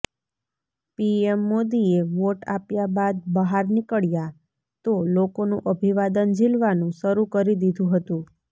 PM મોદીએ vote આપ્યા બાદ બહાર નીકળ્યા તો લોકોનું અભિવાદન ઝીલવાનું શરૂ કરી દીધું હતું